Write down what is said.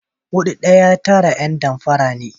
Hudu ɗaya tara ’yan damfara ne.